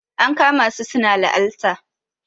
an kama su suna laalta